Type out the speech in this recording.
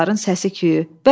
Uşaqların səsi-küyü.